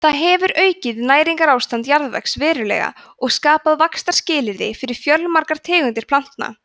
það hefur aukið næringarástand jarðvegs verulega og skapað vaxtarskilyrði fyrir fjölmargar tegundir plantna